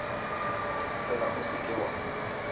fela o se ke wa